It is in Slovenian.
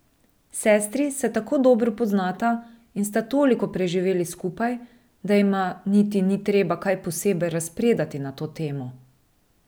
Sestri se tako dobro poznata in sta toliko preživeli skupaj, da jima niti ni treba kaj posebej razpredati na to temo.